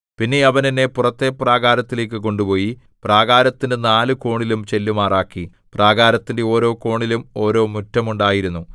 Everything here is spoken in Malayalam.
പിന്നെ അവൻ എന്നെ പുറത്തെ പ്രാകാരത്തിലേക്കു കൊണ്ടുപോയി പ്രാകാരത്തിന്റെ നാല് കോണിലും ചെല്ലുമാറാക്കി പ്രാകാരത്തിന്റെ ഓരോ കോണിലും ഓരോ മുറ്റം ഉണ്ടായിരുന്നു